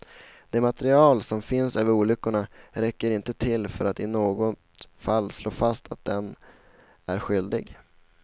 Det material som finns över olyckorna räcker inte till för att i något fall slå fast att den är skyldig.